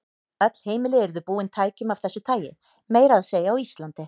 Öll heimili yrðu búin tækjum af þessu tagi, meira að segja á Íslandi.